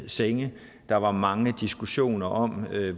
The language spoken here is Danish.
senge der var mange diskussioner om